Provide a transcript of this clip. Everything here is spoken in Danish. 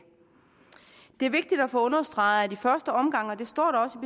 det er vigtigt at få understreget at i første omgang og det står der også